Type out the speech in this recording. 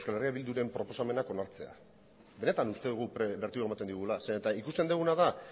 euskal herria bilduren proposamenak onartzea benetan uste dugu bertigoa ematen diola zeren eta ikusten duguna da